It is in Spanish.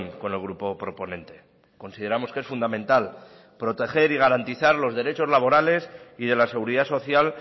con el grupo proponente consideramos que es fundamental proteger y garantizar los derechos laborales y de la seguridad social